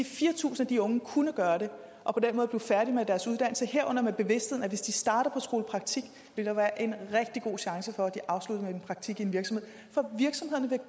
fire tusind af de unge kunne gøre det og på den måde kunne blive færdige med deres uddannelse herunder med bevidstheden om at hvis de starter på skolepraktik vil der være en rigtig god chance for at de afslutter med en praktik i en virksomhed